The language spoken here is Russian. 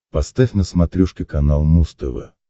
поставь на смотрешке канал муз тв